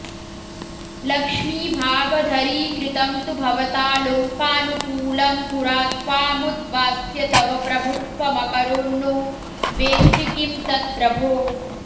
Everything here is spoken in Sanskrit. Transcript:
लक्ष्मीभागधरीकृतं तु भवता लोकानुकूलं पुरा त्वामुद्वास्य तव प्रभुत्वमकरोन्नो वेत्सि किं तत्प्रभो